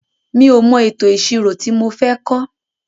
Mi ò mọ ètò ìṣirò ti mo fẹ́ kọ́.